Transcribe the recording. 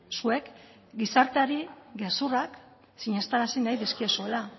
zuek gizarteari gezurrak sinestarazi nahi dizkiezuela